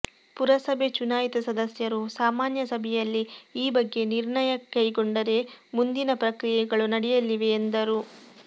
ಪುರಸಭೆ ಚುನಾಯಿತ ಸದಸ್ಯರು ಸಾಮಾನ್ಯ ಸಭೆಯಲ್ಲಿ ಈ ಬಗ್ಗೆ ನಿರ್ಣಯ ಕೆಗೊಂಡರೆ ಮುಂದಿನ ಪ್ರಕ್ರಿಯೆಗಳು ನಡೆಯಲಿವೆ ಎಂದರು